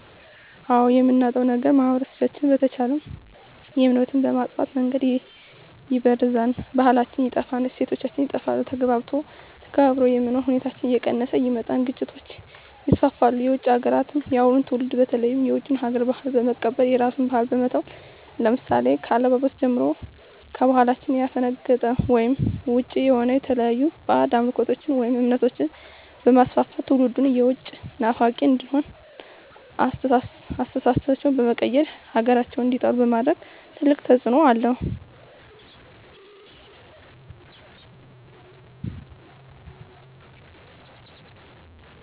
አዎ የምናጣዉ ነገር ማህበረሰቦች ተቻችለዉ የሚኖሩትን በመጥፋ መንገድ ይበርዛል ባህላችን ይጠፋል እሴቶች ይጠፋል ተግባብቶ ተከባብሮ የመኖር ሁኔታዎች እየቀነሰ ይመጣል ግጭቶች ይስፍፍሉ የዉጭ ሀገራትን የአሁኑ ትዉልድ በተለይ የዉጭ ሀገር ባህልን በመቀበል የራስን ባህል በመተዉ ለምሳሌ ከአለባበስጀምሮ ከባህላችን ያፈነቀጠ ወይም ዉጭ የሆነ የተለያዩ ባእጅ አምልኮችን ወይም እምነቶችንበማስፍፍት ትዉልዱም የዉጭ ናፋቂ እንዲሆን አስተሳሰባቸዉ በመቀየር ሀገራቸዉን እንዲጠሉ በማድረግ ትልቅ ተፅዕኖ አለዉ